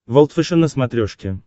волд фэшен на смотрешке